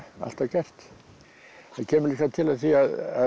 alltaf gert það kemur líklega til af því að